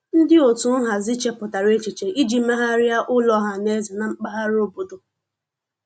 Ndị otu nhazi chepụtara echiche iji megharịa ụlọ ọhaneze na mpaghara obodo.